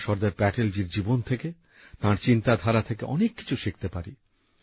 আমরা সর্দার প্যাটেলজির জীবন থেকে তাঁর চিন্তাধারা থেকে অনেক কিছু শিখতে পারি